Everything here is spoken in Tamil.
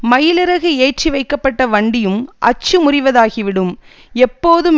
மயிலிறகு ஏற்றி வைக்கப்பட்ட வண்டியும் அச்சு முறிவதாகிவிடும் எப்போதும்